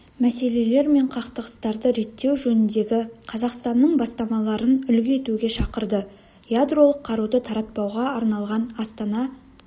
мәселелер мен қақтығыстарды реттеу жөніндегі қазақстанның бастамаларын үлгі етуге шақырды ядролық қаруды таратпауға арналған астана